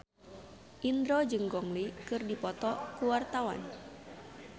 Indro jeung Gong Li keur dipoto ku wartawan